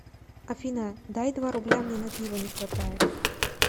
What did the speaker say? афина дай два рубля мне на пиво не хватает